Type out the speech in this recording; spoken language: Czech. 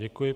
Děkuji.